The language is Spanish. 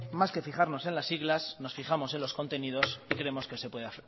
más que fijarnos en las siglas nos fijamos en los contenidos y creemos que se puede